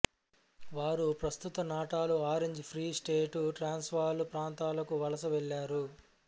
వారు ప్రస్తుత నాటలు ఆరెంజు ఫ్రీ స్టేటు ట్రాన్స్వాలు ప్రాంతాలకు వలస వెళ్ళారు